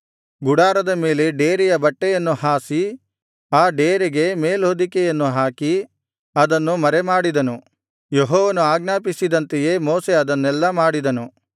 ಗುಡಾರದ ಮೇಲೆ ಡೇರೆಯ ಬಟ್ಟೆಯನ್ನು ಹಾಸಿ ಆ ಡೇರೆಗೆ ಮೇಲ್ಹೊದಿಕೆಯನ್ನು ಹಾಕಿ ಅದನ್ನು ಮರೆಮಾಡಿದನು ಯೆಹೋವನು ಆಜ್ಞಾಪಿಸಿದಂತೆಯೇ ಮೋಶೆ ಅದನ್ನೆಲ್ಲಾ ಮಾಡಿದನು